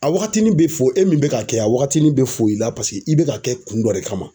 A wagatinin be fo, e min be ka kɛ a wagatinin be fo i la. Paseke i be ka kɛ kun dɔ de kama.